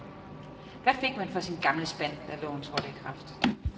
Hvad fik man for sin gamle spand, da loven trådte i kraft?